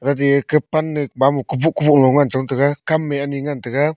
gade eka pan e mamo kuboh kuboh lo ngan chong tega kam e ani ngan tega.